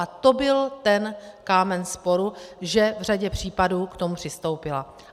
A to byl ten kámen sporu, že v řadě případů k tomu přistoupila.